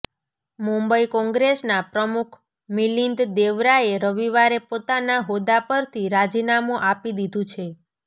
મુંબઈ કોંગ્રેસના પ્રમુખ મિલિંદ દેવરાએ રવિવારે પોતાના હોદ્દા પરથી રાજીનામું આપી દીધું છે